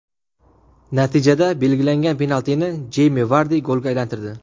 Natijada belgilangan penaltini Jeymi Vardi golga aylantirdi.